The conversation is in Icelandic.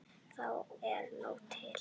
Það er nóg til.